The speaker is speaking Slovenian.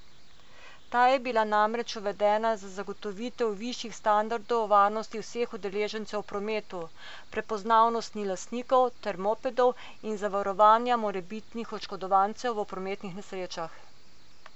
Ta je bila namreč uvedena za zagotovitev višjih standardov varnosti vseh udeležencev v prometu, prepoznavnosti lastnikov teh mopedov in zavarovanja morebitnih oškodovancev v prometnih nesrečah.